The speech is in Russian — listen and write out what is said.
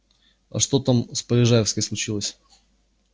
а что там с полежаевской случилось